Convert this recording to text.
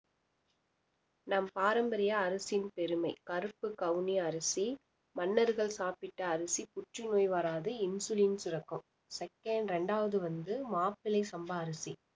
நம் பாரம்பரிய அரிசியின் பெருமை கருப்பு கவுனி அரிசி மன்னர்கள் சாப்பிட்ட அரிசி புற்றுநோய் வராது insulin சுரக்கும் second ரெண்டாவது வந்து மாப்பிள்ளை சம்பா அரிசி